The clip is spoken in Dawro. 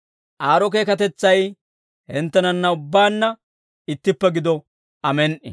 Aad'o keekatetsay hinttenanna ubbaanna ittippe gido. Amen"i.